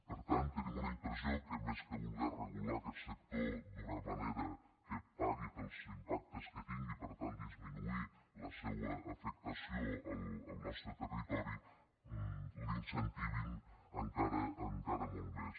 per tant tenim una impressió que més que voler regular aquest sector d’una manera que pagui pels impactes que tingui i per tant disminuir la seua afectació al nostre territori l’incentivin encara molt més